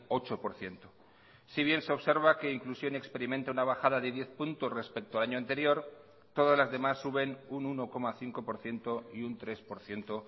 ocho por ciento si bien se observa que inclusión experimenta una bajada de diez puntos respecto al año anterior todas las demás suben un uno coma cinco por ciento y un tres por ciento